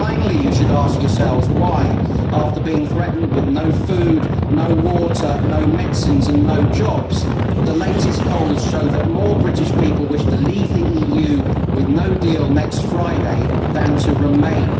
Finally, you should ask yourselves why after being threatened with no food, no water, no medicines and no jobs the latest polls show that more British people wish to leave the EU with no deal next Friday than to remain.